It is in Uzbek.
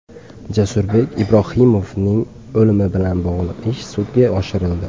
Jasurbek Ibrohimovning o‘limi bilan bog‘liq ish sudga oshirildi.